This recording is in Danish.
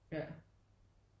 Ja